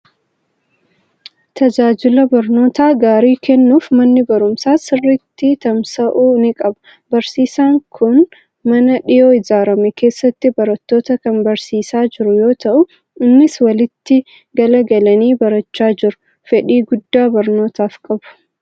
Tajaajila barnoota gaarii kennuuf manni barumsaa sirriitti tamsa'uu ni qaba. Barsiisaan kun mana dhiyoo ijaarame keessatti barattoota kan barsiisaa jiru yoo ta'u, isaanis walitti galagalanii barachaa jiru. Fedhii guddaa barnootaaf qabu.